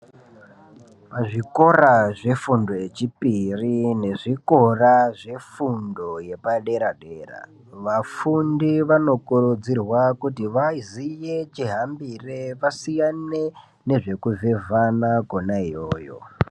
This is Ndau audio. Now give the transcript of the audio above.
Pazvikora zvefundo yechipiri nezvikora zvefundo yepadera-dera. Vafundi vanokurudzirwa kuti vaziye chihambire vasiyane nezvekuvhevhana kona iyoyo.